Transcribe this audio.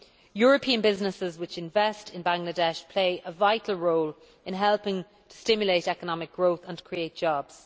European businesses which invest in Bangladesh play a vital role in helping to stimulate economic growth and create jobs.